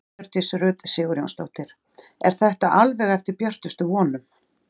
Hjördís Rut Sigurjónsdóttir: Er þetta alveg eftir björtustu vonum?